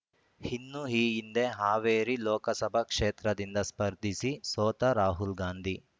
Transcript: ಇನ್ನು ಈ ಹಿಂದೆ ಹಾವೇರಿ ಲೋಕಸಭಾ ಕ್ಷೇತ್ರದಿಂದ ಸ್ಪರ್ಧಿಸಿ ಸೋತ ರಾಹುಲ್ ಗಾಂಧಿ